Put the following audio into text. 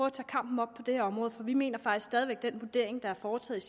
at tage kampen op på det her område for vi mener faktisk stadig væk at den vurdering der er foretaget